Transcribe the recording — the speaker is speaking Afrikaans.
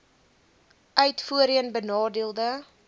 uit voorheen benadeelde